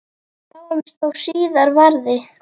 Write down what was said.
Sjáumst þó síðar verði.